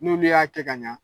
N'olu y'a kɛ ka ɲa